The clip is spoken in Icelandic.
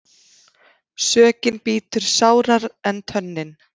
Sökin bítur sárara en tönnin.